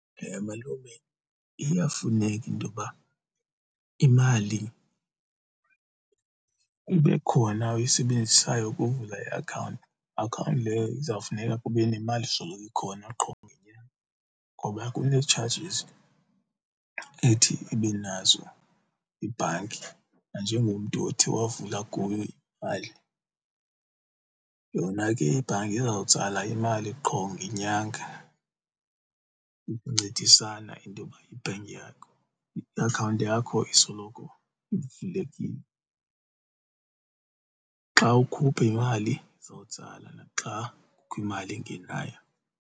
Malume, iyafuneka intoba imali ibe khona oyisebenzisayo ukuvula iakhawunti, akhawunti leyo kuzawufuneka kube nemali esoloko ikhona qho ngenyanga ngoba kunee-chargers ethi ibe nazo iibhanki nanjengomntu othe wavula kuyo imali. Yona ke ibhanki izawutsala imali qho ngenyanga ukuncedisana intoba i-bank yakho, i-akhawunti yakho isoloko ivulekile. Xa ukhupha imali izawutsala naxa kukho imali engenayo.